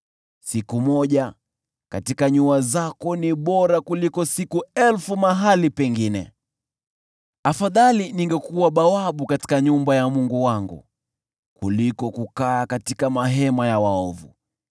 Siku moja katika nyua zako ni bora kuliko siku elfu mahali pengine; afadhali ningekuwa bawabu katika nyumba ya Mungu wangu kuliko kukaa katika mahema ya waovu.